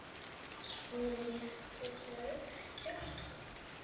Svo létirðu ekki að stjórn.